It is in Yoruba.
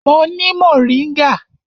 Mo ni moringa.